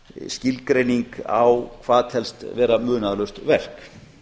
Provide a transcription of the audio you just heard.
skilgreining á hvað telst vera munaðarlaust verk